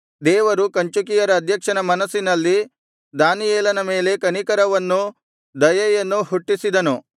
ದೇವರು ಕಂಚುಕಿಯರ ಅಧ್ಯಕ್ಷನ ಮನಸ್ಸಿನಲ್ಲಿ ದಾನಿಯೇಲನ ಮೇಲೆ ಕನಿಕರವನ್ನೂ ದಯೆಯನ್ನೂ ಹುಟ್ಟಿಸಿದನು